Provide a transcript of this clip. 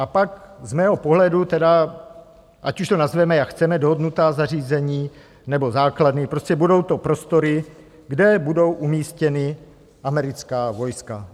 A pak z mého pohledu tedy, ať už to nazveme, jak chceme, dohodnutá zařízení nebo základny, prostě budou to prostory, kde budou umístěna americká vojska.